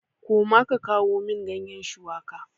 Koma ka kawo min ganyen shuwaka!